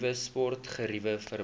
nuwe sportgeriewe verband